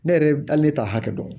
Ne yɛrɛ hali ne ta hakɛ dɔn